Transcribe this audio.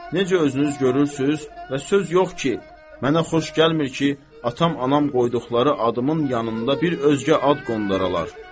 Necə özünüz görürsüz və söz yoxdur ki, mənə xoş gəlmir ki, atam, anam qoyduqları adımın yanında bir özgə ad qondaralar.